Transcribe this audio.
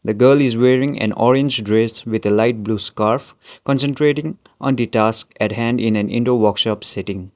the girl is wearing an orange dress with a light blue scarf concentrating on the task at hand in an indoor workshop setting.